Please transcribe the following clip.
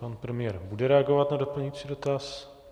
Pan premiér bude reagovat na doplňující dotaz.